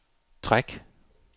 træk